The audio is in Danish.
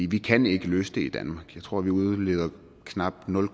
vi kan ikke løse det i danmark jeg tror at vi udleder knap nul